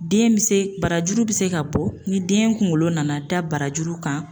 Den bɛ se barajuru bɛ se ka bɔ ni den kunkolo nana da barajuru kan